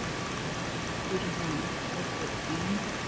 Fyrir honum voru þau enn